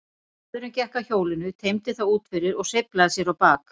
Maðurinn gekk að hjólinu, teymdi það út fyrir og sveiflaði sér á bak.